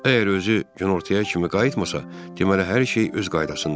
Əgər özü günortaya kimi qayıtmasa, deməli hər şey öz qaydasındadır.